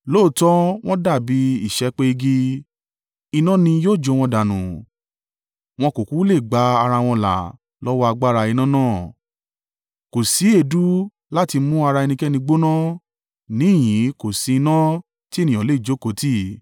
Lóòótọ́ wọ́n dàbí ìṣẹ́pẹ́ igi; iná ni yóò jó wọn dànù. Wọn kò kúkú lè gba ara wọn là lọ́wọ́ agbára iná náà. Kò sí èédú láti mú ara ẹnikẹ́ni gbóná níhìn-ín kò sí iná tí ènìyàn le jókòó tì.